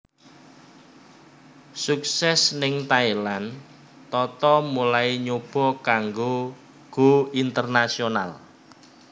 Sukses ning Thailand Tata mulai nyoba kanggo go international